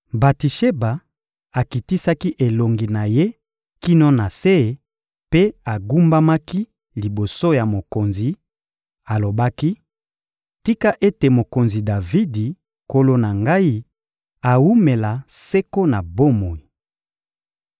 Batisheba akitisaki elongi na ye kino na se mpe agumbamaki liboso ya mokonzi; alobaki: — Tika ete mokonzi Davidi, nkolo na ngai, awumela seko na bomoi!